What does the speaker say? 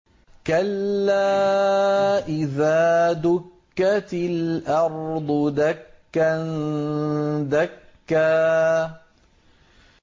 كَلَّا إِذَا دُكَّتِ الْأَرْضُ دَكًّا دَكًّا